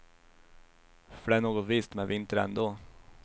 För det är något visst med vinter ändå.